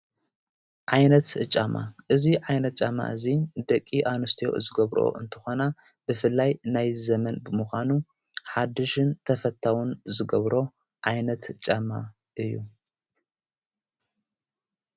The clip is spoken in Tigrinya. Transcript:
ዓይነት ጫማ እዙ ዓይነት ጫማ እዙይ ደቂ ኣንስቴዮ ዝገብሮኦ እንተኾና ብፍላይ ናይ ዘመን ብምዃኑ ሓድሽን ተፈታዉን ዝገብሮ ዓይነት ጫማ እዩ።